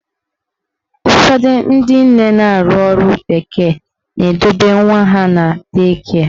Ụfọdụ ndị nne na-arụ ọrụ bekee na-edobe nwa ha na dei kịe.